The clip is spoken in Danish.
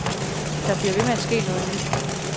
Der bliver ved med at ske noget nyt.